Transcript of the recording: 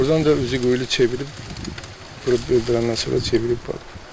Burdan da üzüqoyulu çevirib qoyub öldürəndən sonra çevirib qayıdıb.